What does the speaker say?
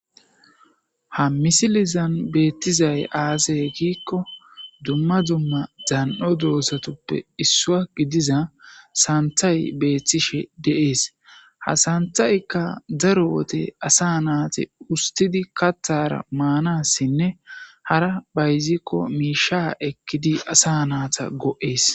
Ha misilezan betizay aze giikon dumma dumma dan'o dozatappe isuwa gididiza santhay betishe de'es. Ha santhayka daro wode asa nati usti Kathara manasinne hara bayziko miisha ekid asa go'es.